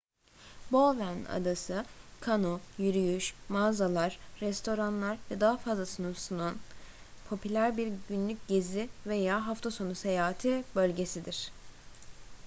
bowen adası kano yürüyüş mağazalar restoranlar ve daha fazlasını sunan popüler bir günlük gezi veya hafta sonu seyahati bölgesidir